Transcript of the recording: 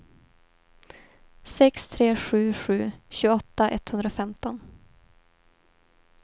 sex tre sju sju tjugoåtta etthundrafemton